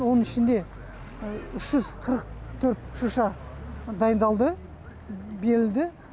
оның ішінде үш жүз қырық төрт шырша дайындалды берілді